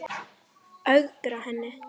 Ögra henni.